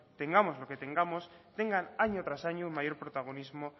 tengamos lo que tengamos tengan año tras año mayor protagonismo